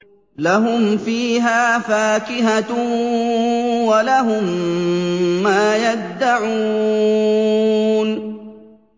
لَهُمْ فِيهَا فَاكِهَةٌ وَلَهُم مَّا يَدَّعُونَ